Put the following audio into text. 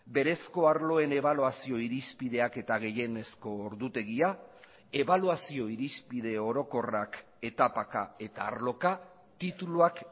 berezko arloen ebaluazio irizpideak eta gehienezko ordutegia ebaluazio irizpide orokorrak etapaka eta arloka tituluak